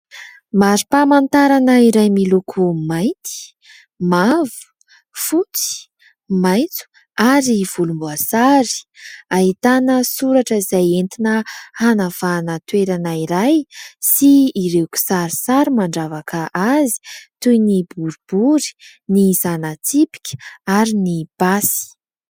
Mari-pamantarana iray miloko mainty mavo, fotsy, mainty ary volomboasary ; ahitana soratra izay entina anavahana toerana iray sy ireo kisarisary mandravaka azy toy ny boribory ny zana-tsipika ary ny basy.